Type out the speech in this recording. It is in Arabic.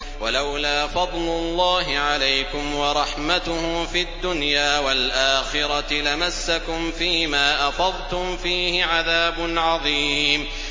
وَلَوْلَا فَضْلُ اللَّهِ عَلَيْكُمْ وَرَحْمَتُهُ فِي الدُّنْيَا وَالْآخِرَةِ لَمَسَّكُمْ فِي مَا أَفَضْتُمْ فِيهِ عَذَابٌ عَظِيمٌ